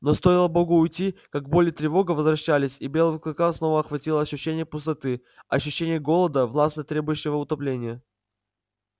но стоило богу уйти как боль и тревога возвращались и белого клыка снова охватывало ощущение пустоты ощущение голода властно требующего утопления